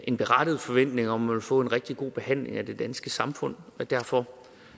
en berettiget forventning om vil få en rigtig god behandling af det danske samfund derfor